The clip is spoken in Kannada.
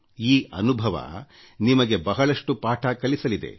ಈ ಅನುಭವ ನಿಮಗೆ ಬಹಳಷ್ಟು ಪಾಠ ಕಲಿಸಲಿದೆ